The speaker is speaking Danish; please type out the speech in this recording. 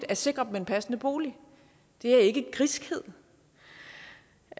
at sikre dem en passende bolig det er ikke griskhed